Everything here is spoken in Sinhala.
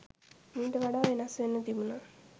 මීට වඩා වෙනස් වෙන්න තිබුණා.